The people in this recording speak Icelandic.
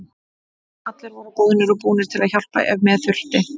Allir voru boðnir og búnir til að hjálpa ef með þurfti.